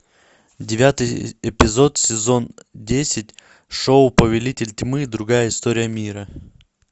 девятый эпизод сезон десять шоу повелитель тьмы другая история мира